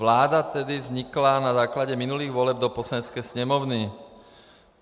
Vláda tedy vznikla na základě minulých voleb do Poslanecké sněmovny.